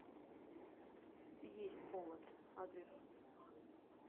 есть повод адрес